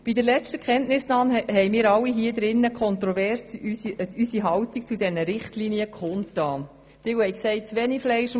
Bei der letzten Kenntnisnahme haben wir alle hier im Grossen Rat unsere Haltung zu diesen Richtlinien kontrovers kundgetan.